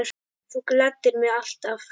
Þú gladdir mig alltaf.